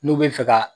N'u bɛ fɛ ka